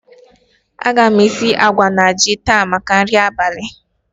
A ga m esi àgwà na ji taa maka nri abalị